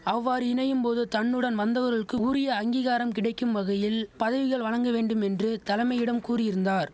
அவ்வாறு இணையும் போது தன்னுடன் வந்தவர்களுக்கு ஊரிய அங்கீகாரம் கிடைக்கும் வகையில் பதவிகள் வழங்க வேண்டும் என்று தலமையிடம் கூறியிருந்தார்